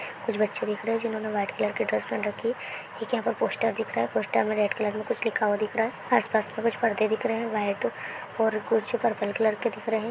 कुछ बच्चे दिख रहें हैं जिन्होंने वाइट कलर का ड्रेस पहन रखी है एक यहाँ पर पोस्टर दिख रहा है पोस्टर में रेड कलर में कुछ लिखा हुआ दिख रहा है आसपास में कुछ परदे दिख रहें है वाइट और कुछ पर्पल कलर के दिख रहें हैं।